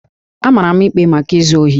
A mara m ikpe maka izu ohi